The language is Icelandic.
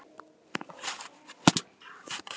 Kaffi og djús eftir messu.